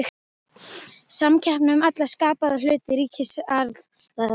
Samkeppni um alla skapaða hluti ríkir alls staðar.